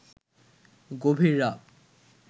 গভীর রাত